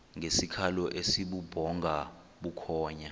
ngesikhalo esibubhonga bukhonya